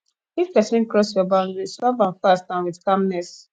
if person cross your boundary solve am fast and with calmness